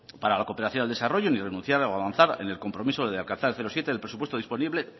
para la cooperación al desarrollo ni renunciar a avanzar en el compromiso de alcanzar el cero coma siete del presupuesto disponible